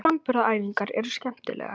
Framburðaræfingarnar eru skemmtilegar.